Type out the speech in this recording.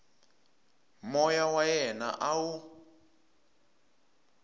moya wa yena a wu